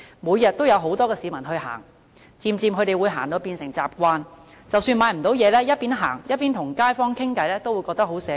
每天都有很多市民前往這些墟市閒逛，漸漸就會變成習慣，即使沒有購物，邊閒逛邊與街坊閒聊都會覺得很寫意。